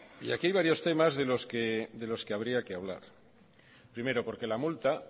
y aquí hay varios temas de los que habría que hablar primero porque la multa